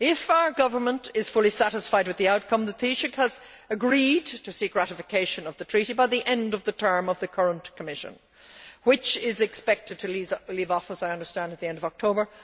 If our Government is fully satisfied with the outcome, the Taoiseach has agreed to seek ratification of the Treaty by the end of the term of the current Commission, which is expected to leave office, I understand, at the end of October.